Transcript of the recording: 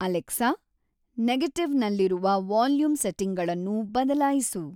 Alexa, ನೆಗೆಟಿವ್‌ನಲ್ಲಿರುವ volume ಸೆಟ್ಟಿಂಗ್‌ಗಳನ್ನು ಬದಲಾಯಿಸು